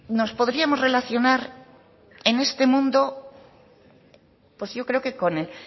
nos podríamos relacionar en este mundo pues yo creo que con el